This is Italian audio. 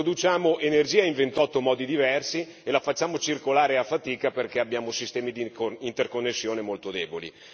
Produciamo energia in 28 modi diversi e la facciamo circolare a fatica perché abbiamo sistemi di interconnessione molto deboli.